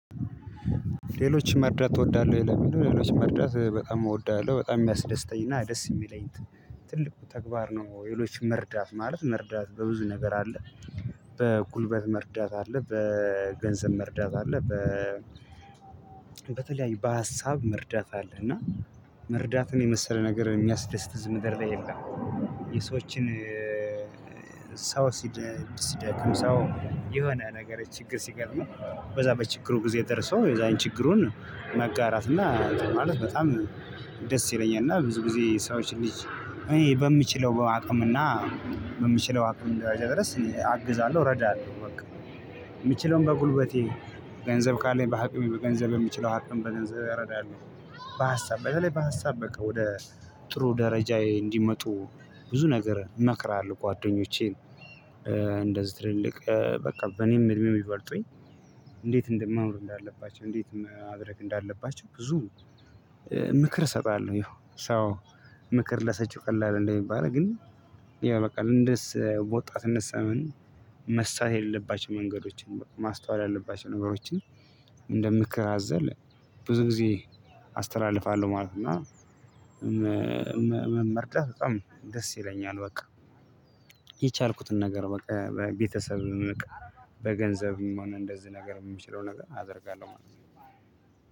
ሌሎችን መርዳት ተወዳለሁ ለሚለው ሌሎች መርዳት በጣም እወዳለሁ በጣም የሚያስደስተኝና ደስ የሚለኝ ትልቁ ተግባር ነው። ሌሎችን መርዳት ማለት መርዳት በብዙ ነገር አለ። በጉልበት መርዳት አለ በገንዘብ መርዳት አለ በ በተለያዩ በሀሳብ መርዳት አለ እና መርዳትን የመሰለ ነገር የሚያስደስት እዚህ ምድር ላይ የለም። የሰዎችን ሰው ሲደክም ሰው የሆነ ነገር ችግር ሲገጥመው በዛ በችግሩ ጊዜ ደርሶ የዛን ችግሩን መጋራት እና እንትን ማለት በጣም ደስ ይለኛል እና ብዙ ጊዜ ሰዎች ልጅ እኔ በምችለው አቅምና በምችለው አቅም ደረጃ እኔ አግዛለሁ እረዳለሁ። በቃ የምችለውን በጉልበቴ ገንዘብ ካለኝ በሀቅሜ በገንዘብ በሚችለው ሀቅም በገንዘብ እረዳለሁ በሀሳብ በተለይ በሀሳብ በቃ ወደ ጥሩ ደረጃዬ እንዲመጡ ብዙ ነገር እመክራለሁ ጓደኞቼን እንደዚህ ትልቅ በቃ በኔም እድሜ የሚበልጡኝ እንዴት እንደማኖር እንዳለባቸው እንዴትም ማድረግ እንዳለባቸው ብዙ ምክር እሰጣለሁ። ያው ሰው ምክር ለሰጪው ቀላል እንደሚባል ግን ያው በቃ እንደስ ወጣትነት ሰመን መሳት የሌለባቸው መንገዶችን ማስተዋል ያለባቸው ነገሮችን እንደምክር አዘል ብዙ ጊዜ አስተላልፋለሁ ማለት ነው። እና መ መርዳት በጣም ደስ ይለኛል። በቃ የቻልኩትን ነገር በቃ ቤተሰብ በገንዘብ ሆነ እንደዚህ ነገር የምችለው ነገር አደርጋለሁ ማለት ነው።